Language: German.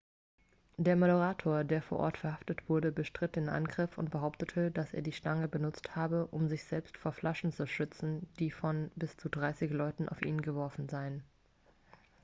der moderator der vor ort verhaftet wurde bestritt den angriff und behauptete dass er die stange benutzt habe um sich selbst vor flaschen zu schützen die von bis zu dreißig leuten auf ihn geworfen worden seien